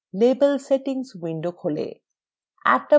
label settings window খোলে